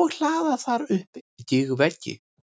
og hlaða þar upp gígveggi.